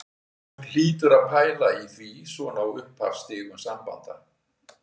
Fólk hlýtur að pæla í því svona á upphafsstigum sambanda